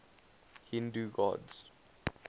hindu gods